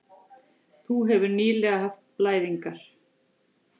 Þú hefðir nýlega haft blæðingar.